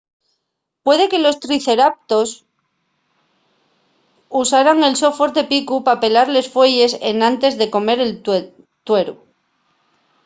puede que los triceratops usaran el so fuerte picu pa pelar les fueyes enantes de comer el tueru